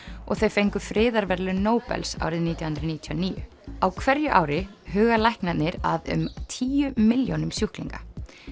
og þau fengu friðarverðlaun Nóbels árið nítján hundruð níutíu og níu á hverju ári huga læknarnir að um tíu milljónum sjúklinga